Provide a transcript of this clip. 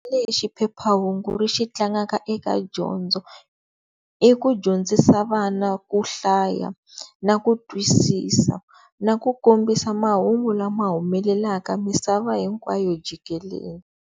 Lexi phephahungu ri xi tlangaka eka dyondzo i ku dyondzisa vana ku hlaya na ku twisisa na ku kombisa mahungu lama humelelaka misava hinkwayo jikelele.